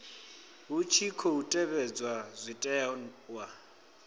hu tshi khou tevhedzwa zwitenwa